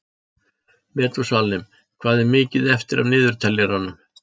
Metúsalem, hvað er mikið eftir af niðurteljaranum?